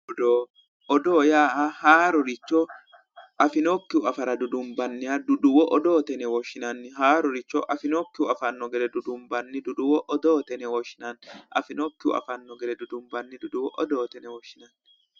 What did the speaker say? Odoo odoo yaa haaroricho afinokkihu afara dudunbanniha duduwo odoote yine woshshinanni haaroricho afinokkihu afara dudunbanni duduwo odoote yine woshshinanni